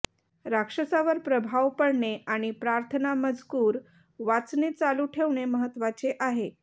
राक्षसावर प्रभाव पडणे आणि प्रार्थना मजकूर वाचणे चालू ठेवणे महत्त्वाचे आहे